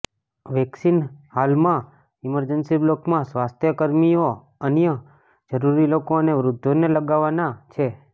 vaccine હાલમાં emergency બ્લોકમાં સ્વાસ્થ્ય કર્મીઓ અન્ય જરૂરી લોકો અને વૃદ્ધોને લગાવાના છે